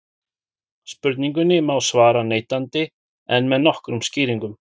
spurningunni má svara neitandi en með nokkrum skýringum